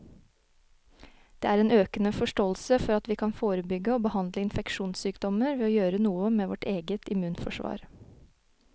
Det er en økende forståelse for at vi kan forebygge og behandle infeksjonssykdommer ved å gjøre noe med vårt eget immunforsvar.